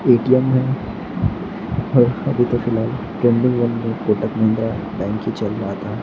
ATM है और अभी तो फिलहाल ट्रेंडिंग वन मे कोटक महिंद्रा बैंक ही चल रहा था।